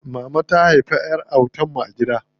Mama ta haifi ƴar autan mu a gida.